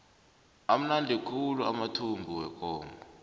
amnandi khulu amathumbu wekomo